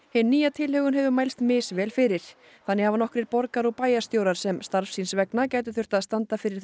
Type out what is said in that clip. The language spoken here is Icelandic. hin nýja tilhögun hefur mælst misvel fyrir þannig hafa nokkrir borgar og bæjarstjórar sem starfs síns vegna gætu þurft að standa fyrir